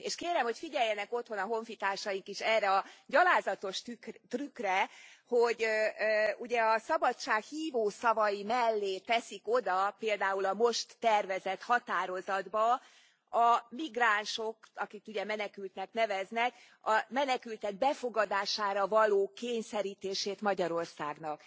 És kérem, hogy figyeljenek otthon a honfitársaik is erre a gyalázatos trükkre, hogy ugye a szabadság hívó szavai mellé teszik oda, például a most tervezett határozatba, a migránsok akiket ugye menekülektnek neveznek a menekültek befogadására való kényszerítését Magyarországnak.